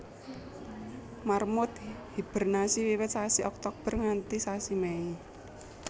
Marmut hibernasi wiwit sasi Oktober nganti sasi Mei